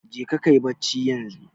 Jeka kayi bacci yanzu.